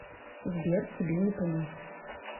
сбер тебе не понять